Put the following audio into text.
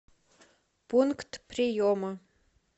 пункт приема